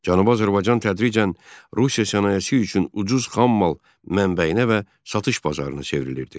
Cənubi Azərbaycan tədricən Rusiya sənayesi üçün ucuz xam mal mənbəyinə və satış bazarına çevrilirdi.